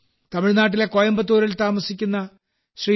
തമിഴ്നാട്ടിലെ കോയമ്പത്തൂരിൽ താമസിക്കുന്ന ശ്രീ